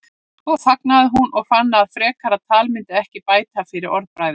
Svo þagnaði hún og fannst að frekara tal myndi ekki bæta fyrir orðbragðið.